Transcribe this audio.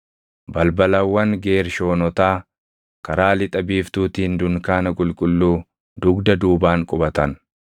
Balbalawwan Geershoonotaa karaa lixa biiftuutiin dunkaana qulqulluu dugda duubaan qubatan.